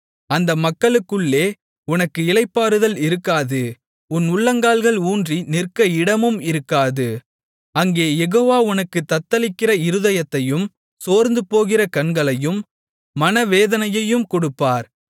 அந்த மக்களுக்குள்ளே உனக்கு இளைப்பாறுதல் இருக்காது உன் உள்ளங்கால்கள் ஊன்றி நிற்க இடமும் இருக்காது அங்கே யெகோவா உனக்குத் தத்தளிக்கிற இருதயத்தையும் சோர்ந்துபோகிற கண்களையும் மனவேதனையையும் கொடுப்பார்